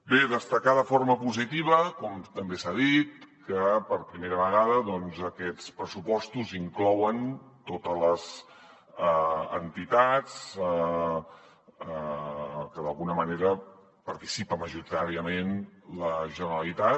bé destacar de forma positiva com també s’ha dit que per primera vegada aquests pressupostos inclouen totes les entitats de què d’alguna manera participa majoritàriament la generalitat